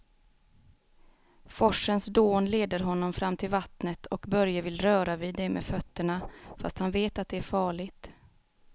Forsens dån leder honom fram till vattnet och Börje vill röra vid det med fötterna, fast han vet att det är farligt.